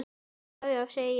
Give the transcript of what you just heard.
Já já, segi ég.